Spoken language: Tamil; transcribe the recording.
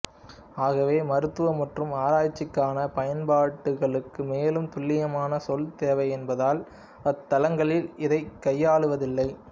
ஆகவே மருத்துவ மற்றும் ஆராய்ச்சிக்கான பயன்பாடுகளுக்கு மேலும் துல்லியமான சொல் தேவை என்பதால் அத்தளங்களில் இதைக் கையாளுவதில்லை